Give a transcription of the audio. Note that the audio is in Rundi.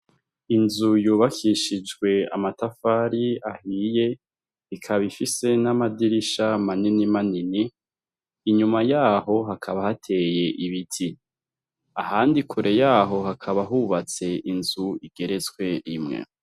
Inzu yubakishijwe amatafari ahiye ikaba ifise n'amadirisha maninimanini inyuma yaho hakaba hateye ibiti, ahandi kure yaho hakaba hubatse inzu igetetswe rimwe.